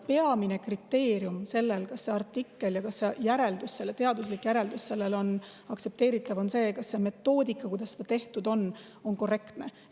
Peamine kriteerium sellel, kas artikkel ja selle teaduslik järeldus on aktsepteeritavad, on see, kas see metoodika, kuidas see tehtud on, on korrektne.